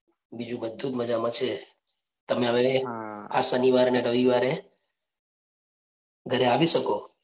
બીજું બધુ જ મજા માં છે. તમે હવે આ શનિવારે અને રવિવારે ઘરે આવી શકો